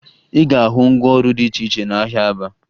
Ị ga-ahụ ngwaọrụ dị iche iche n'ahịa Aba